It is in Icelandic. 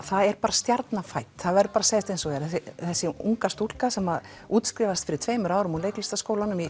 það er bara stjarna fædd það verður að segjast eins og er þessi unga stúlka sem útskrifaðist fyrir tveimur árum úr leiklistarskólanum í